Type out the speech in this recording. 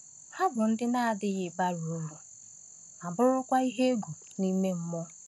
Ha bụ ndị na-adịghị bara uru, ma bụrụkwa ihe egwu n’ime mmụọ.